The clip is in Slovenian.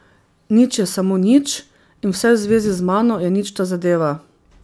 Nič je samo nič in vse v zvezi z mano je ničta zadeva.